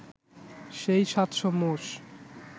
সেই সাতশো মোষ